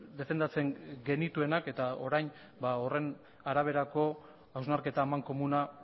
defendatzen genituenak eta orain horren araberako hausnarketa amankomuna